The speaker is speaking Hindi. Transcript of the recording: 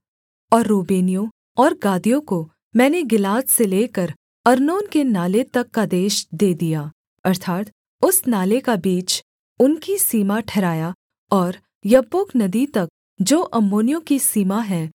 और रूबेनियों और गादियों को मैंने गिलाद से लेकर अर्नोन के नाले तक का देश दे दिया अर्थात् उस नाले का बीच उनकी सीमा ठहराया और यब्बोक नदी तक जो अम्मोनियों की सीमा है